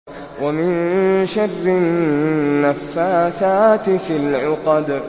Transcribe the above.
وَمِن شَرِّ النَّفَّاثَاتِ فِي الْعُقَدِ